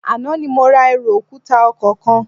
Àná ni mo ra ẹrù òkúta ọkọ̀ kan